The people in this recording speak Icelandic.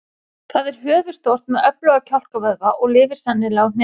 Það er höfuðstórt með öfluga kjálkavöðva og lifir sennilega á hnetum.